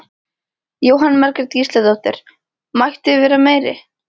Jóhanna Margrét Gísladóttir: Mætti vera meiri?